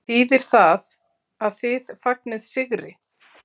Þýðir það að þið fagnið sigri?